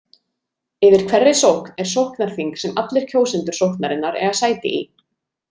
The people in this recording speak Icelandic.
Yfir hverri sókn er sóknarþing sem allir kjósendur sóknarinnar eiga sæti í.